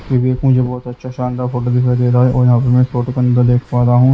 विवेक मुझे बहुत अच्छा शानदार फोटो दिखाई दे रहा है और यहाँ पर मैं फोटो के अंदर देख पा रहा हूँ।